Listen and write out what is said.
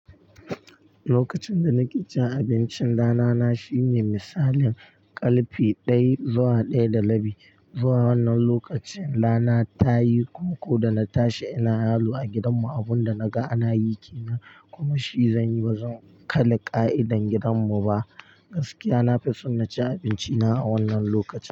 Lokacin da nake cin abincin rana na shine misalin ƙalfe ɗaya zuwa ɗaya da rabi, zuwa wannan lokacin rana ta yi kunku da na tashi ina lalo a gidan mu abun da na ga ana yi ke nan kuma shi zan yi bazan kalla ƙa'idan gidan mu ba. Gaskiya na fi so na ci abinci na a wannan lokaci.